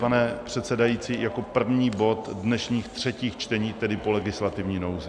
Pane předsedající, jako první bod dnešních třetích čtení, tedy po legislativní nouzi.